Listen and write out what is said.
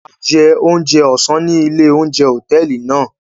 A jẹ oúnjẹ ọsán ní ilé oúnjẹ hotẹẹli náà